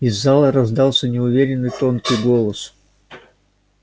из зала раздался неуверенный тонкий голос